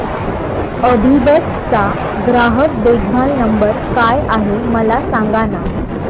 अभिबस चा ग्राहक देखभाल नंबर काय आहे मला सांगाना